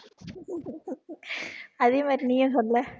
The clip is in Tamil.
அதே மாதிரி நீயே சொல்லு